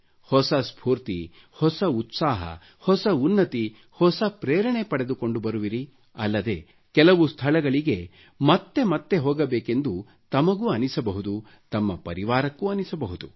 ಹೊಸ ಸ್ಪೂರ್ತಿ ಹೊಸ ಉತ್ಸಾಹ ಹೊಸ ಉನ್ನತಿ ಹೊಸ ಪ್ರೇರಣೆ ತೆಗೆದುಕೊಂಡು ಬರುವಿರಿ ಅಲ್ಲದೆ ಕೆಲವು ಸ್ಥಳಗಳಿಗೆ ಮತ್ತೆ ಮತ್ತೆ ತಮಗೂ ಹೋಗಬೇಕೆಂದು ಅನಿಸಬಹುದು ತಮ್ಮ ಪರಿವಾರಕ್ಕೂ ಅನಿಸಬಹುದು